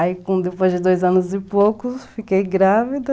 Aí, depois de dois anos e pouco, fiquei grávida.